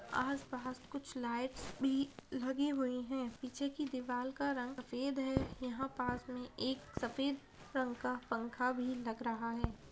आस-पास कुछ लाइट्स भी लगी हुई है पीछे की दीवाल का रंग सफ़ेद है यहाँ पास में एक सफ़ेद रंग का पंखा भी लग रहा है।